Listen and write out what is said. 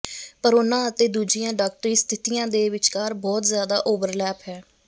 ਪਰ ਉਹਨਾਂ ਅਤੇ ਦੂਜੀਆਂ ਡਾਕਟਰੀ ਸਥਿਤੀਆਂ ਦੇ ਵਿਚਕਾਰ ਬਹੁਤ ਜ਼ਿਆਦਾ ਓਵਰਲੈਪ ਹੈ